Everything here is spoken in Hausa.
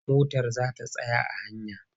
Motar za ta tsaya a hanya.